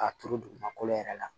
K'a turu dugumakolo yɛrɛ la